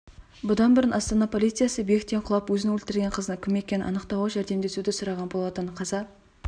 бұдан бұрын астана полициясы биіктен құлап өзін өлтірген қыздың кім екенін анықтауға жәрдемдесуді сұраған болатын қаза